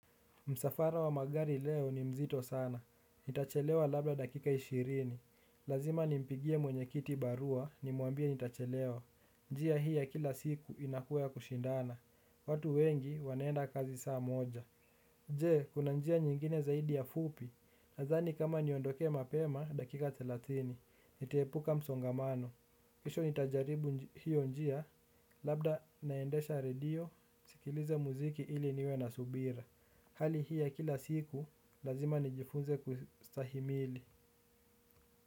Msafara wa magari leo ni mzito sana. Nitachelewa labda dakika ishirini. Lazima nimpigie mwenyekiti barua nimwambie nitachelewa. Njia hii ya kila siku inakuwa ya kushindana. Watu wengi wanaenda kazi saa moja. Je, kuna njia nyingine zaidi ya fupi? Nadhani kama niondoke mapema dakika thelathini. Nitaepuka msongamano. Kesho nitajaribu hiyo njia. Labda naendesha radio. Nisikilize muziki ili niwe na subira. Hali hii ya kila siku lazima nijifunze kustahimili.